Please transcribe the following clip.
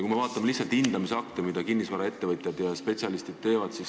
Vaatame hindamisakte, mida kinnisvaraettevõtjad ja spetsialistid on teinud.